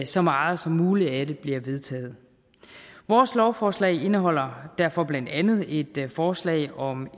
så meget som muligt af det bliver vedtaget vores lovforslag indeholder derfor blandt andet et forslag om